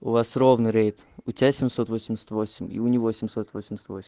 у вас ровно рейд у тебя семьсот восемьдесят восемь и у него семьсот восемьдесят восемь